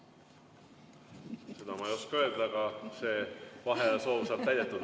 Seda ma ei oska öelda, aga see vaheajasoov saab täidetud.